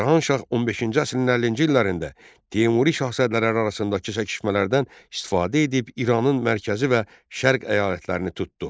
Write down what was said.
Cahan Şah 15-ci əsrin 50-ci illərində Teymuri şahzadələri arasındakı çəkişmələrdən istifadə edib İranın mərkəzi və şərq əyalətlərini tutdu.